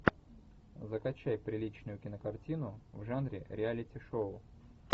закачай приличную кинокартину в жанре реалити шоу